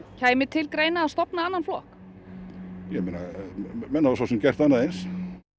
kæmi til greina að stofna annan flokk menn hafa svo sem gert annað eins